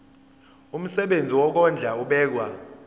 umsebenzi wokondla ubekwa